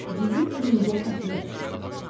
Bizim izimizə xəfiyyə düşüb.